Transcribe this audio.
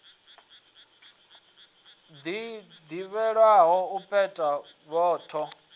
ḽi ḓivhelwaho u peta voho